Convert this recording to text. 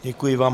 Děkuji vám.